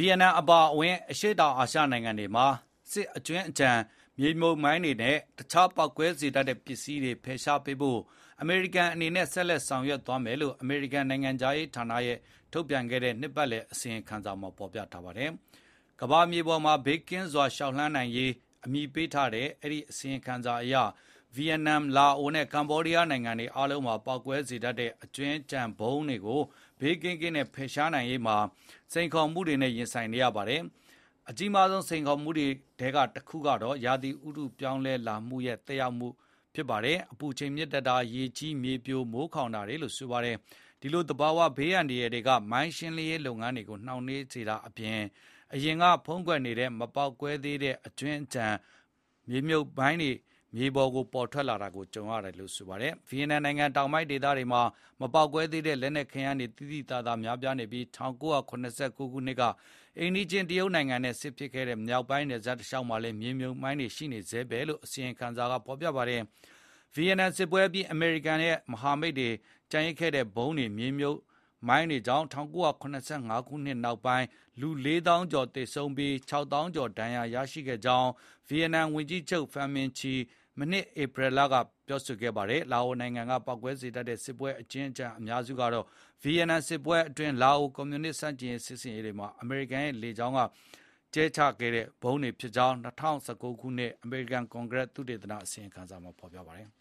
ီယက်နမ် အပါအဝင် အရှေ့တောင်အာရှ နိုင်ငံတွေမှာ စစ်အကြွင်းအကျန် မြေမြှုပ်မိုင်းတွေနဲ့ တခြားပေါက်ကွဲစေတတ်တဲ့ ပစ္စည်းတွေ ဖယ်ရှားပေးဖို့ အမေရိကန်အနေနဲ့ ဆက်လက် ဆောင်ရွက်သွားမယ်လို့ အမေရိကန်နိုင်ငံခြားရေးဌာနက ထုတ်ပြန်ခဲ့တဲ့ နှစ်ပတ်လည် အစီရင်ခံစာမှာ ဖော်ပြထားပါတယ်။ "ကမ္ဘာမြေပေါ် ဘေးကင်းစွာ လျှောက်လှမ်းရေး" အမည်ပေးထားတဲ့ အဲဒီ အစီရင်ခံစာအရ ဗီယက်နမ်၊ လာအိုနဲ့ ကမ္ဘောဒီးယားနိုင်ငံ အားလုံးမှာ ပေါက်ကွဲစေတတ်တဲ့ စစ်အကြွင်းအကျန်တွေကို ဘေးကင်းကင်းနဲ့ ဖယ်ရှားနိုင်ရေးမှာ စိန်ခေါ်မှုတွေနဲ့ ရင်ဆိုင်နေရပါတယ်။ အကြီးမားဆုံး စိန်ခေါ်မှုတွေထဲက တခုကတော့ ရာသီဥတု ပြောင်းလဲလာတာရဲ့ သက်ရောက်မှုဖြစ်တဲ့ အပူချိန်မြင့်တက်တာ၊ ရေကြီး၊ မြေပြို၊ မိုးခေါင်တာတွေလို့ ဆိုပါတယ်။ ဒီလို သဘောဝဘေးတွေက မိုင်ရှင်းရေး လုပ်ငန်းတွေကို နှောင့်နှေးစေတာအပြင် အရင်က ဖုံးကွယ်နေတဲ့ မပေါက်ကွဲသေးတဲ့ အကြွင်းအကျန် အသစ်တွေ မြေပြင်ပေါ် ထွက်လာတွေကို ကြုံရတာပါ။ ဗီယက်နမ်နိုင်ငံ တောင်ပိုင်းဒေသတွေမှာ မပေါက်ကွဲသေးတဲ့ လက်နက်ခဲယမ်းတွေ သိသိသာသာ များပြားနေပြီး ၁၉၇၉ ခုနှစ်က အိမ်နီးချင်း တရုတ်နိုင်ငံနဲ့ စစ်ဖြစ်ခဲ့တဲ့ မြောက်ပိုင်း နယ်စပ်တစ်လျှောက်မှာလည်း မြေမြှုပ်မိုင်းတွေ ရှိနေဆဲပဲလို့ အစီရင်ခံစာက ဆိုပါတဘ်။ ဗီယက်နမ်စစ်ပွဲအပြီး အမေရိကန်နဲ့ မဟာမိတ်တွေ ကျန်ရစ်ခဲ့တဲ့ ဗုံးနဲ့ မြေမြှုပ်မိုင်းဗုံးတွေကြောင့် ၁၉၇၅ ခုနှစ် နောက်ပိုင်း လူ ၄၀,၀၀၀ ကျော် သေဆုံးကာ ၆၀,၀၀၀ ကျော် ဒဏ်ရာရရှိခဲ့ကြောင်း ဗီယက်နမ်ဝန်ကြီးချုပ် ဖန်မင်ချီ မနှစ် ဧပြီလက ပြောပါတယ်။ လာအိုနိုင်ငံက ပေါက်ကွဲစေတတ်တဲ့ စစ်ပွဲ အကြွင်းအကျန် အများစုကတော့ ဗီယက်နမ်စစ်ပွဲအတွင်း လာအို ကွန်မြူနစ်ဆန့်ကျင်ရေး စစ်ဆင်ရေးတွေမှာ အမေရိကန်ရဲ့ လေကြောင်းက ဗုံးကြဲတိုက်ခိုက်ခဲ့တာတွေကြောင့် ဖြစ်ကြောင်း ၂၀၁၉ ခုနှစ် အမေရိကန် ကွန်ဂရက်လွှတ်တော် သုတေသန အစီရင်ခံစာမှာ ဖော်ပြထားပါတယ်။